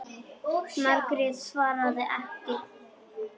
Margrét svaraði ekki.